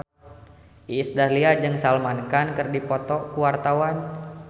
Iis Dahlia jeung Salman Khan keur dipoto ku wartawan